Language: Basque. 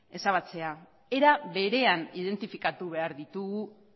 ezabatzea era berean identifikatu behar ditugu